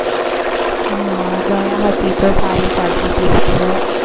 હા દયા હતી તો સારી ચાલતી તી serial